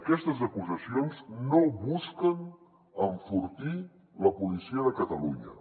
aquestes acusacions no busquen enfortir la policia de catalunya